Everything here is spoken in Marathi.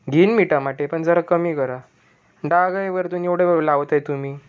घेईन मी टमाटे पर जरा कमी करा डाग आहे वरतून एवढं लावताय तुम्ही --